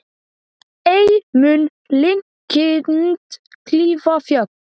Ei mun linkind klífa fjöll.